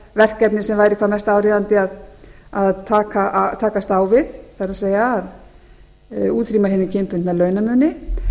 verkefni sem væri hvað mest áríðandi að takast á við það er að útrýma hinum kynbundna launamun